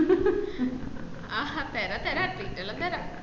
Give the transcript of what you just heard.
തെര treat എല്ലം തെര